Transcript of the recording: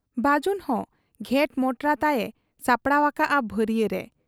ᱵᱟᱹᱡᱩᱱ ᱦᱚᱸ ᱜᱷᱮᱸᱴ ᱢᱚᱴᱨᱟ ᱛᱟᱭ ᱮ ᱥᱟᱯᱲᱟᱣ ᱟᱠᱟᱜ ᱟ ᱵᱷᱟᱹᱨᱤᱭᱟᱹᱨᱮ ᱾